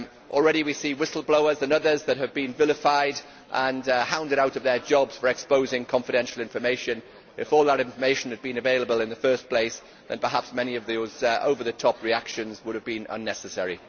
Already we see whistleblowers and others that have been vilified and hounded out of their jobs for exposing confidential information. If all that information had been available in the first place, then perhaps many of those over the top reactions would have been unnecessary.